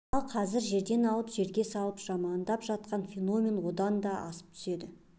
ал қазір жерден алып жерге салып жамандап жатқан феномен одан да асып түседі